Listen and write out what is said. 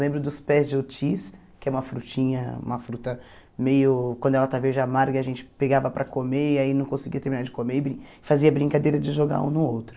Lembro dos pés de oitis, que é uma frutinha, uma fruta meio... Quando ela está verde amarga, a gente pegava para comer e aí não conseguia terminar de comer e brin fazia brincadeira de jogar um no outro.